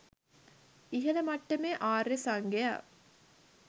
ඉහලම මට්ටමේ ආර්ය සංඝයා